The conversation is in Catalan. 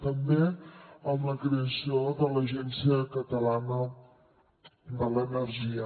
també amb la creació de l’agència catalana de l’energia